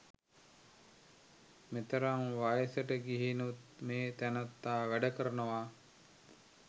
මෙතරම් වයසට ගිහිනුත් මේ තැනැත්තා වැඩ කරනවා.